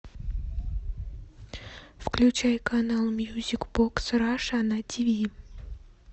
включай канал мьюзик бокс раша на ти ви